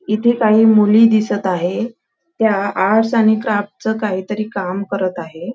इथ काही मुली दिसत आहे त्या आर्ट्स आणि क्राफ्ट च काहीतरी काम करत आहे.